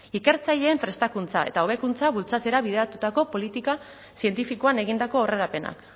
ikertzaileen prestakuntza eta hobekuntza bultzatzera bideratutako politika zientifikoan egindako aurrerapenak